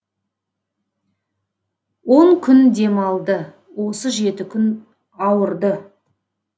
он күн демалды осы жеті күн ауырды